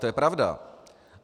To je pravda.